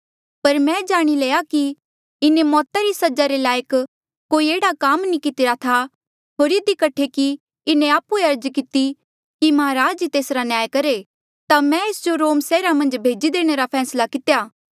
पर मैं जाणी लया कि इन्हें मौता री सजा रे लायक कोई एह्ड़ा काम नी कितिरा था होर इधी कठे कि इन्हें आप्हुए अर्ज किती कि महाराज ही तेसरा न्याय करहे ता मैं एस जो रोम सैहरा मन्झ भेजी देणे रा फैसला कितेया